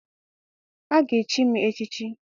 A ga- echi m echichi.